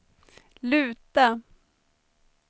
luta